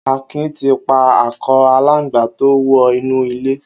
Akin ti pà àkọ àlángbá tó wọ inú ilé